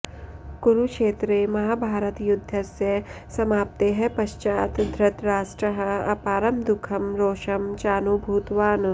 कुरुक्षेत्रे महाभारतयुद्धस्य समाप्तेः पश्चात् धृतराष्ट्रः अपारं दुःखं रोषं चानुभूतवान्